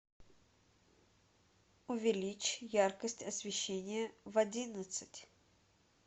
увеличь яркость освещения в одиннадцать